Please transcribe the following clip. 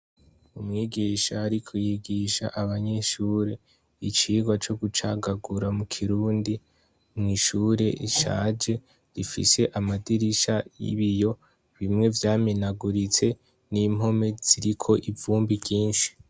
Umwigisha ariko yigisha abanyeshure icigwa co gucagagura mukirundi mwishure ishaje ifise amadirisha y' ibiyo bimwe vyamenaguritse n' impome ziriko ivumbi ryinshi.